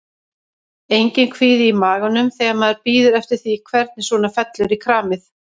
Enginn kvíði í maganum þegar maður bíður eftir því hvernig svona fellur í kramið?